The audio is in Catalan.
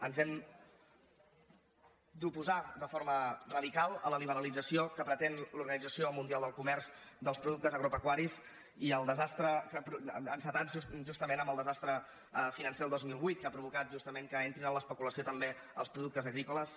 ens hem d’oposar de forma radical a la liberalització que pretén l’orga·nització mundial del comerç dels productes agrope·cuaris i el desastre encetat justament amb el desastre financer el dos mil vuit que ha provocat justament que en·trin en l’especulació també els productes agrícoles